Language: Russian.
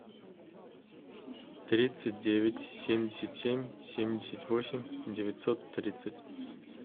тридцать девять семьдесят семь семьдесят восемь девятьсот тридцать